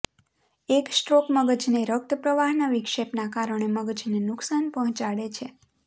એક સ્ટ્રોક મગજને રક્ત પ્રવાહના વિક્ષેપના કારણે મગજને નુકસાન પહોંચાડે છે